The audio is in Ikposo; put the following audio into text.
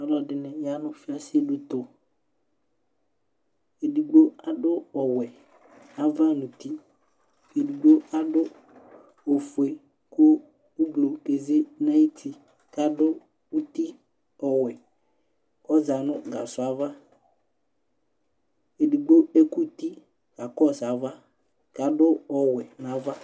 Aluɛdini ya nu fiaseditu edigbo adu ɔwɛ ava nu uti edigbo adu ofue ku ublu keze nu uti kadu uti ɔwɛ ku ɔza nu gasɔɔ ava edigbo ekuti ɔkakɔsu ava kadu ɔwɛ nava